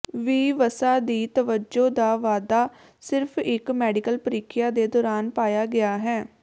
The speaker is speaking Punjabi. ਵੀ ਵਸਾ ਦੀ ਤਵੱਜੋ ਦਾ ਵਾਧਾ ਸਿਰਫ ਇੱਕ ਮੈਡੀਕਲ ਪ੍ਰੀਖਿਆ ਦੇ ਦੌਰਾਨ ਪਾਇਆ ਗਿਆ ਹੈ